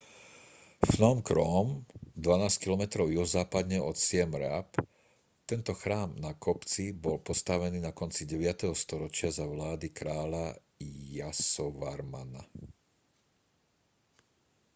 phnom krom 12 km juhozápadne od siem reap tento chrám na kopci bol postavený na konci 9. storočia za vlády kráľa yasovarmana